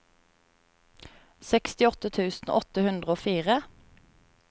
sekstiåtte tusen åtte hundre og fire